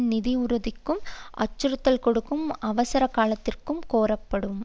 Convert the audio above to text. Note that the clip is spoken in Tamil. நிதி உறுதிக்கும் அச்சுறுத்தல் கொடுக்கும் அவசர காலத்திற்கு கோரப்படும்